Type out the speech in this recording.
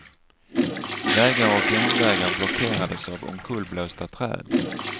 Vägar och järnvägar blockerades av omkullblåsta träd.